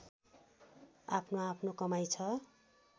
आफ्नोआफ्नो कमाइ छ